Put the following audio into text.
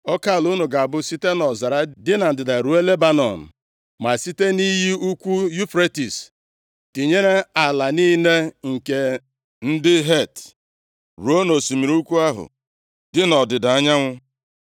Oke ala unu ga-abụ site nʼọzara dị na ndịda ruo Lebanọn, ma site nʼiyi ukwu Yufretis, tinyere ala niile nke ndị Het, ruo nʼosimiri ukwu ahụ dị nʼọdịda anyanwụ.